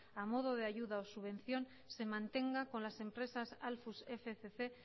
a modo de ayuda o subvención se mantenga con las empresas alfus fcc